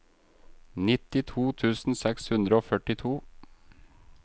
nittito tusen seks hundre og førtito